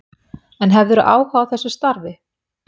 En hefðirðu áhuga á þessu starfi?